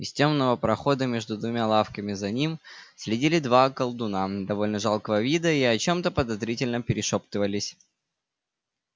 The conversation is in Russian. из тёмного прохода между двумя лавками за ним следили два колдуна довольно жалкого вида и о чем-то подозрительно перешёптывались